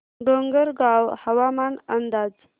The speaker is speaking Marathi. डोंगरगाव हवामान अंदाज